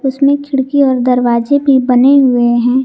उसमें खिड़की और दरवाजे भी बने हुए हैं।